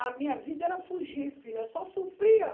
A minha vida era fugir, filha, eu só sofria.